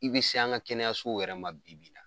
I bi se an ka kɛnɛyaso yɛrɛ ma bi bi in na.